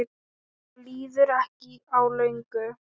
Það líður ekki á löngu.